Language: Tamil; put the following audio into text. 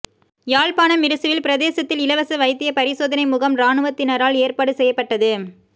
யாழ்ப்பாணம் மிருசுவில் பிரதேசத்தில் இலவச வைத்திய பரிசோதனை முகாம் இராணுவத்தினரால் ஏற்பாடுசெய்யப்பட்டது